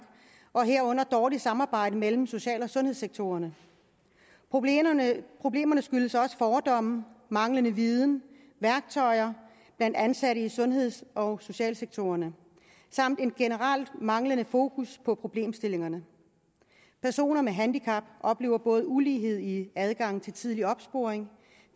og herunder dårligt samarbejde mellem social og sundhedssektoren problemerne problemerne skyldes også fordomme manglende viden og værktøjer blandt ansatte i sundheds og socialsektoren samt en generel manglende fokus på problemstillingerne personer med handicap oplever både ulighed i adgangen til tidlig opsporing